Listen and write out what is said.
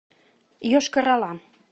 йошкар ола